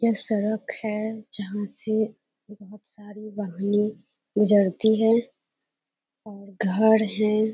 यह सड़क है जहाँ से बहुत सारी वाहनें गुजरती है और घर है।